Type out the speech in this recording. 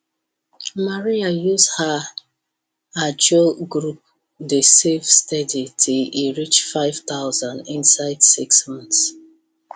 maria use her ajo group dey save steady till e reach 5000 inside 6 months